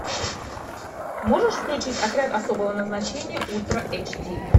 можешь включить отряд особого назначения ультра эйч ди